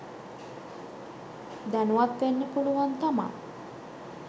දැනුවත් වෙන්න පුළුවන් තමා.